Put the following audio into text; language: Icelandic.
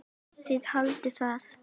Þið haldið það.